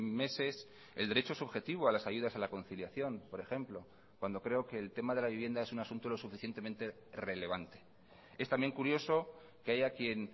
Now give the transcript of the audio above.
meses el derecho subjetivo a las ayudas a la conciliación por ejemplo cuando creo que el tema de la vivienda es un asunto lo suficientemente relevante es también curioso que haya quien